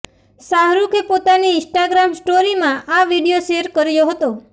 શાહરૂખે પોતાની ઈન્સ્ટાગ્રામ સ્ટોરીમાં આ વીડિયો શેર કર્યો હતો